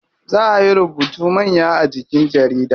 Zaa ayi rubutu manya a jikin jarida.